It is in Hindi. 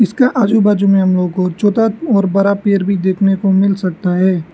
इसका आजू बाजू में हम लोग को छोता और बरा पेर भी देखने को मिल सकता है।